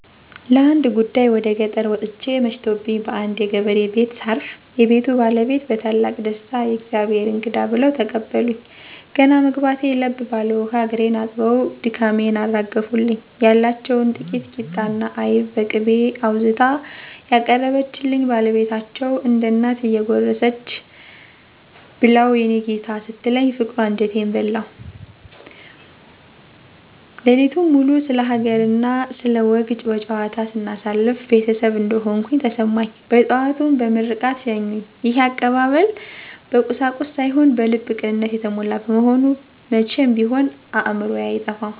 ለአንድ ጉዳይ ወደ ገጠር ወጥቼ መሽቶብኝ በአንድ የገበሬ ቤት ሳርፍ፣ የቤቱ ባለቤት በታላቅ ደስታ "የእግዜር እንግዳ!" ብለው ተቀበሉኝ። ገና መግባቴ ለብ ባለ ውሃ እግሬን አጥበው ድካሜን አራገፉልኝ። ያለችውን ጥቂት ቂጣና አይብ በቅቤ አውዝታ ያቀረበችልኝ ባለቤታቸው፣ እንደ እናት እየጎረሰች "ብላው የኔ ጌታ" ስትለኝ ፍቅሯ አንጀቴን በላው። ሌሊቱን ሙሉ ስለ ሀገርና ስለ ወግ በጨዋታ ስናሳልፍ ቤተሰብ እንደሆንኩ ተሰማኝ። በጠዋቱም በምርቃት ሸኙኝ። ይሄ አቀባበል በቁሳቁስ ሳይሆን በልብ ቅንነት የተሞላ በመሆኑ መቼም ቢሆን ከአእምሮዬ አይጠፋም።